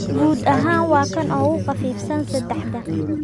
Guud ahaan waa kan ugu khafiifsan saddexda.